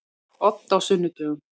Odd á sunnudögum.